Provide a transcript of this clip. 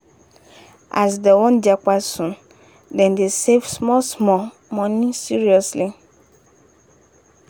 as dem wan japa soon dem dey save small-small money seriously